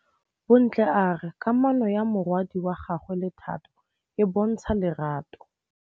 Bontle a re kamanô ya morwadi wa gagwe le Thato e bontsha lerato.